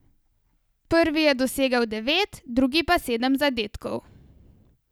Prvi je dosegel devet, drugi pa sedem zadetkov.